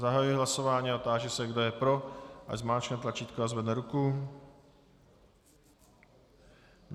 Zahajuji hlasování a táži se, kdo je pro, ať zmáčkne tlačítko a zvedne ruku.